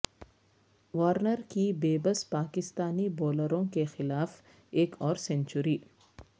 Warner کی بے بس پاکستانی بولروں کیخلاف ایک اور سنچری